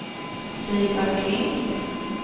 Sigvard Kling